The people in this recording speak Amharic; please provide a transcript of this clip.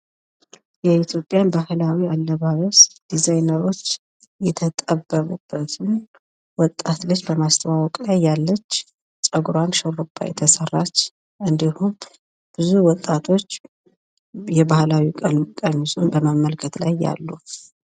የኢትዮጵያ ባህላዊ አለባበስ ፤ ድዛይነሮች የተጠበቡበትን ወጣት ልጅ በማስተዋወቅ ላይ ያለች ፣ ጸጉሩዋን ሹርባ የተሰራች እንዲሁም ብዙ ወጣቶች የባህላዊ ቀሚሱን በመመልከት ላይ አሉ።